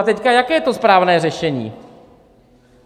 A teď, jaké je to správné řešení?